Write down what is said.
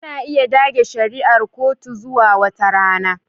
Ana iya dage shari'ar kotu zuwa wata rana